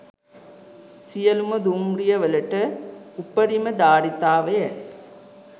සියලුම දුම්රියවලට උපරිම ධාරිතාවය